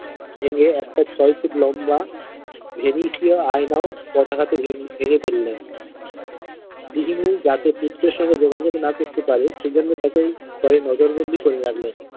ভেঙ্গে একটা ছয় ফুট লম্বা ভীবিষিয় আয়নায় পদাঘাতে ভেঙ্গে ফেললেন গৃহিণী যাতে পুত্রের সঙ্গে যোগাযোগ না করলে পারে সে জন্যে তাকে ঘরে নজর বন্দী করে রাখলেন।